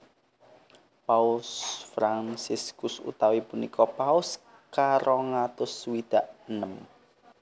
Paus Fransiskus utawi punika Paus karong atus swidak enem